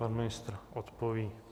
Pan ministr odpoví.